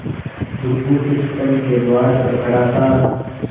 बुधगुप्त स्तंभ के द्वार पर खड़ा था